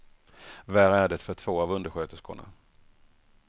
Värre är det för två av undersköterskorna.